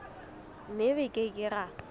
mme re ke ke ra